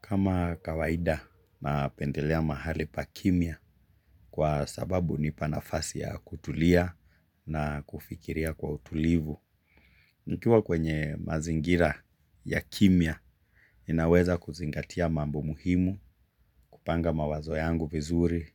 Kama kawaida napendelea mahali pa kimya kwa sababu ni panafasi ya kutulia na kufikiria kwa utulivu. Nkiwa kwenye mazingira ya kimya, ninaweza kuzingatia mambo muhimu, kupanga mawazo yangu vizuri